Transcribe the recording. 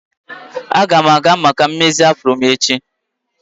Aga m aga maka mmezi afro m echi.